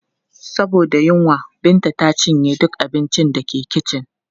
Saboda yunwa, Binta ta cinye duka abincin da ke kicin.